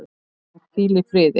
Hann hvíli í friði.